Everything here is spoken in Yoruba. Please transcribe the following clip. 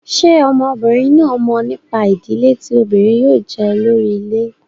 Ṣé ọmọbìnrin náà mọ̀ nípa ìdílé tí obìnrin yóò jẹ́ olórí ilé?